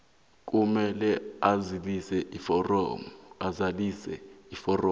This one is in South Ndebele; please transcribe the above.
kufanele azalise iforomo